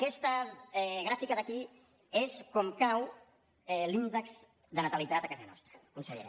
aquesta gràfica d’aquí és com cau l’índex de natalitat a casa nostra consellera